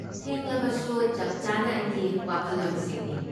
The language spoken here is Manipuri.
ꯊꯦꯡꯂꯕꯁꯨ, ꯆꯞ ꯆꯥꯅ ꯑꯩꯒꯤ ꯋꯥꯈꯜꯂꯣꯟꯁꯤꯡꯅꯤ꯫